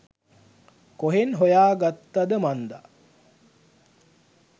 කොහෙන් හොයා ගත්තද මන්දා